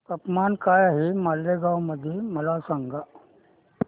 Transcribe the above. तापमान काय आहे मालेगाव मध्ये मला सांगा